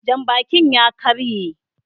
Janbakin ya ƙarye